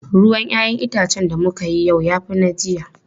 Ruwan 'ya'yan itacen da muka yi yau ya fi na jiya.